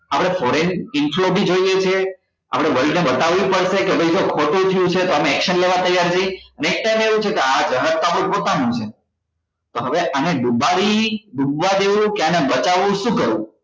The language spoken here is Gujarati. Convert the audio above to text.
આપડે foreign inflow બી જોઈએ છે આપડે world ને બતાવવું પડશે કે ભાઈ જો ખોટું થયું છે તો અમે action લેવા તૈયાર છીએ ને એવુ છે કે આ જહાજ તો આપડું પોતાનું છે તો હવે આને ડુબાડી ડૂબવા દેવું કે આને બચાવવું શુ કરવું